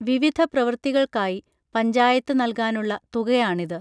വിവിധ പ്രവൃത്തികൾക്കായി പഞ്ചായത്ത് നൽകാനുള്ള തുകയാണിത്